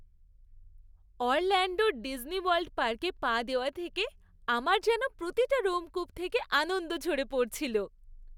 অরল্যাণ্ডোর Disney World পার্কে পা দেওয়া থেকে আমার যেন প্রতিটা রোমকূপ থেকে আনন্দ ঝরে পড়ছিল।